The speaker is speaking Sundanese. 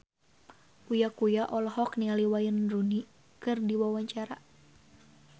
Uya Kuya olohok ningali Wayne Rooney keur diwawancara